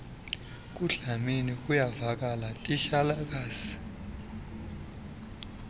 kudlamini kuyavakala titshalakazi